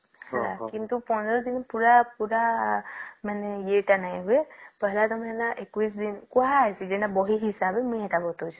କିନ୍ତୁ ୧୫ ଦିନ ପୁରା ପୁରା ୟେ ତା ନାଇଁ ହୁଏ ପହିଲା ତା ହେଲା ୨୧ ଦିନ କୁହ ହେଇଛେ ଏଟା ବହି ହିସାବେ ମୁଇ ବତାଉଛେ